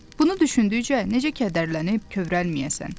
Bunu düşündükcə necə kədərlənib kövrəlməyəsən?